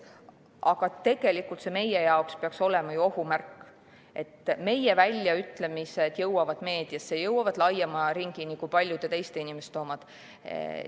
Aga meie jaoks peaks see olema ohumärk, sest meie väljaütlemised jõuavad meediasse, jõuavad laiema ringini kui paljude teiste inimeste omad.